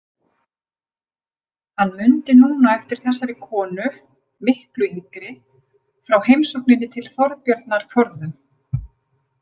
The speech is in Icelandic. Hann mundi núna eftir þessari konu, miklu yngri, frá heimsókninni til Þorbjarnar forðum.